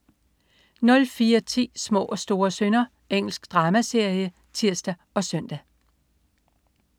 04.10 Små og store synder. Engelsk dramaserie (tirs og søn)